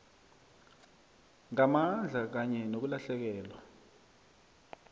ngamandla kanye nokulahlekelwa